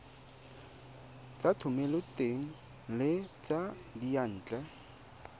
tsa thomeloteng le tsa diyantle